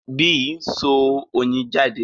Bee n so oyin jade